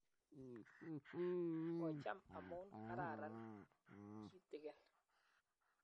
kocham amu kararan kitegen